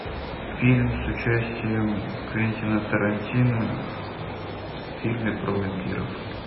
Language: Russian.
фильм с участием квентина тарантино в фильме про вампиров